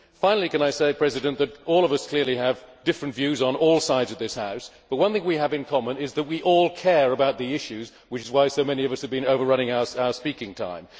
Finally, can I say that all of us clearly have different views on all sides of this House, but one thing we have in common is that we all care about the issues, which is why so many of us have been overrunning our speaking time.